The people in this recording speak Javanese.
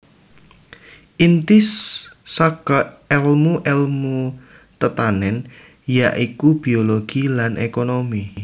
Inti saka èlmu èlmu tetanèn ya iku biologi lan ékonomi